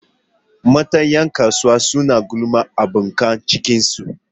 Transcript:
Mata 'yan kasuwar suna gulmar abokan cikinsu